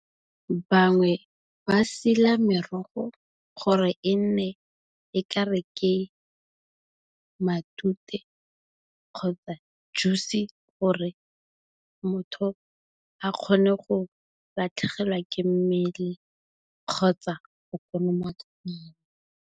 Bangwe ba sila merogo gore e nne e ka re ke matute, kgotsa juice gore motho a kgone go latlhegelwa ke mmele kgotsa go kolomaka mala.